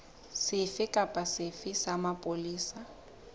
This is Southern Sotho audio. sefe kapa sefe sa mapolesa